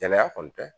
Kɛnɛya kɔni tɛ